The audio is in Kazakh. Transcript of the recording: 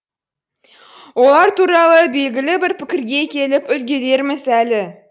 олар туралы белгілі бір пікірге келіп үлгірерміз әлі